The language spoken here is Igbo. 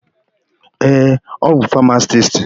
Ee, ọ bụ famasisti.